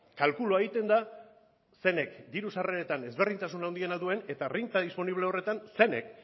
kalkulua egiten da zeinek diru sarreretan ezberdintasun handiena duen eta renta disponible horretan zeinek